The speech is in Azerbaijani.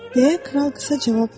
deyə kral qısa cavab verdi.